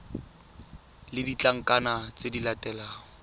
le ditlankana tse di latelang